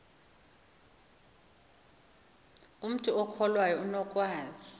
umntu okholwayo unokwazi